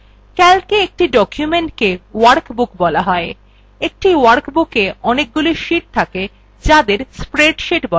calca একটি documentthe workbook বলা হয় একটি workbooka অনেকগুলি sheets থাকে যাদের spreadsheets বলা হয়